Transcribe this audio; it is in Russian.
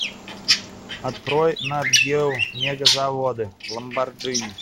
открой нат гео мегазаводы ламборджини